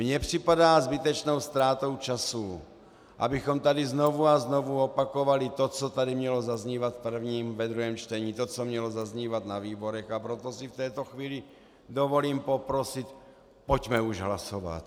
Mně připadá zbytečnou ztrátou času, abychom tady znovu a znovu opakovali to, co tady mělo zaznívat v prvním, ve druhém čtení, to co mělo zahnívat na výborech, a proto si v této chvíli dovolím poprosit, pojďme už hlasovat.